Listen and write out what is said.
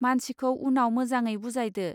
मानसिखौ उनाव मोजाङै बुजायदो.